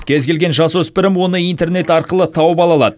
кез келген жасөспірім оны интернет арқылы тауып ала алады